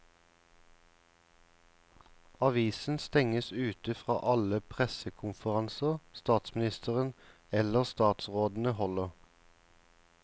Avisen stenges ute fra alle pressekonferanser statsministeren eller statsrådene holder.